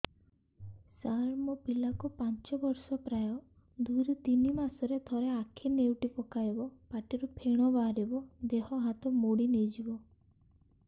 ସାର ମୋ ପିଲା କୁ ପାଞ୍ଚ ବର୍ଷ ପ୍ରାୟ ଦୁଇରୁ ତିନି ମାସ ରେ ଥରେ ଆଖି ନେଉଟି ପକାଇବ ପାଟିରୁ ଫେଣ ବାହାରିବ ଦେହ ହାତ ମୋଡି ନେଇଯିବ